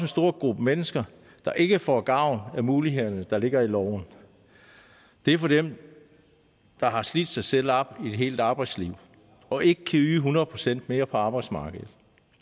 stor gruppe mennesker der ikke får gavn af mulighederne der ligger i loven det er dem der har slidt sig selv op i et helt arbejdsliv og ikke kan yde hundrede procent mere på arbejdsmarkedet